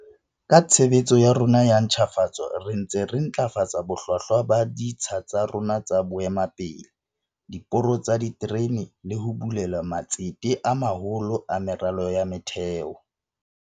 Ka tshebetso ya rona ya ntjhafatso re ntse re ntlafatsa bohlwahlwa ba ditsha tsa rona tsa boemakepe, diporo tsa diterene le ho bulela matsete a maholo a meralo ya motheo.